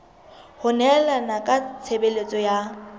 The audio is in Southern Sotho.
ho nehelana ka tshebeletso ya